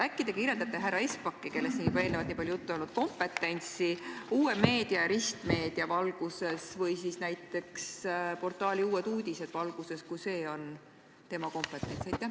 Äkki te kirjeldate härra Espaki kompetentsi – temast on siin juba eelnevalt nii palju juttu olnud – uue meedia ja ristmeedia valguses või siis näiteks portaali Uued Uudised valguses, kui see on tema kompetents?